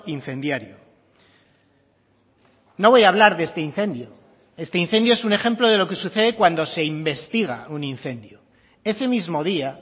incendiario no voy a hablar de este incendio este incendio es un ejemplo de lo que sucede cuando se investiga un incendio ese mismo día